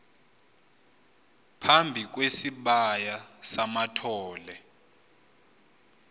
phambi kwesibaya samathole